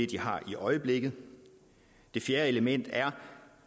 de har i øjeblikket det fjerde element er